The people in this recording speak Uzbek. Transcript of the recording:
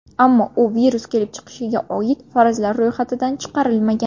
Ammo u virus kelib chiqishiga oid farazlar ro‘yxatidan chiqarilmagan.